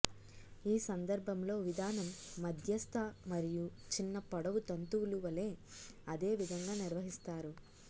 ఈ సందర్భంలో విధానం మధ్యస్థ మరియు చిన్న పొడవు తంతువులు వలె అదే విధంగా నిర్వహిస్తారు